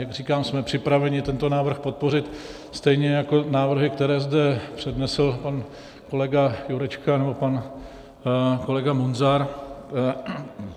Jak říkám, jsme připraveni tento návrh podpořit, stejně jako návrhy, které zde přednesl pan kolega Jurečka nebo pan kolega Munzar.